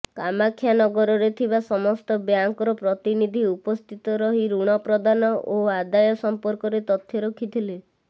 କାମାକ୍ଷାନଗରରେ ଥିବା ସମସ୍ତ ବ୍ୟାଙ୍କର ପ୍ରତିନିଧି ଉପସ୍ଥିତ ରହି ଋଣ ପ୍ରଦାନ ଓ ଆଦାୟ ସମ୍ଫର୍କରେ ତଥ୍ୟ ରଖିଥିଲେ